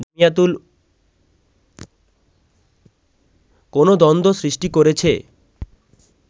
কোন দ্বন্দ্ব সৃষ্টি করেছে